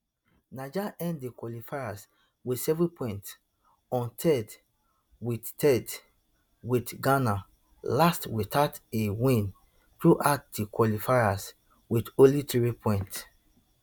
niger end di qualifiers wit seven points on third wit third wit ghana last without a win throughout di qualifiers wit only three points